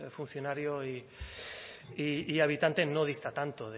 funcionario y habitante no dista tanto